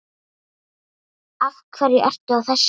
Af hverju ertu að þessu?